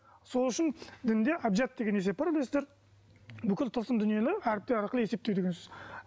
сол үшін дінде әбжат деген есеп бар білесіздер бүкіл тылсым дүниені әріптер арқылы есептеу деген сөз